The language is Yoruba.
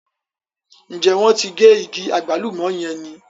Ǹjẹ́ wọ́n ti gé igi àgbálùmọ̀ yẹn ni?